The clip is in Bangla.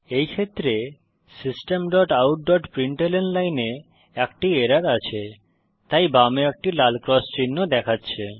এই ক্ষেত্রে systemoutপ্রিন্টলন লাইনে একটি এরর আছে তাই বামে একটি লাল ক্রস চিহ্ন দেখাচ্ছে